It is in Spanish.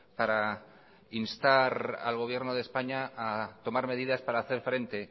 para instar al gobierno de españa a tomar medidas para hacer frente